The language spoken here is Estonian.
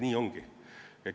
Nii ongi.